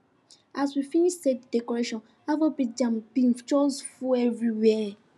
as we finish set the decoration afrobeat jams been just full everywhere